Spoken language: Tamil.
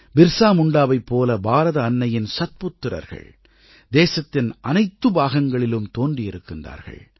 பிர்ஸா முண்டாவைப் போல பாரத அன்னையின் சத்புத்திரர்கள் தேசத்தின் அனைத்து பாகங்களிலும் தோன்றியிருக்கிறார்கள்